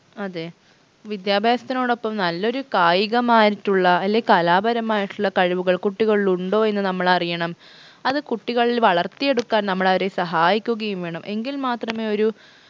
അതെ വിദ്യാഭ്യാസത്തിനോടൊപ്പം നല്ലൊരു കായികമായിട്ടുള്ള അല്ലെൽ കലാപരമായിട്ടുള്ള കഴിവുകൾ കുട്ടികളിൽ ഉണ്ടോ എന്ന് നമ്മൾ അറിയണം അത് കുട്ടികളിൽ വളർത്തിയെടുക്കാൻ നമ്മളവരെ സഹായിക്കുകയും വേണം എങ്കിൽ മാത്രമേ ഒരു